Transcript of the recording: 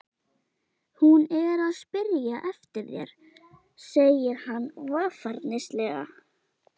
Hún er að spyrja eftir þér, segir hann varfærnislega.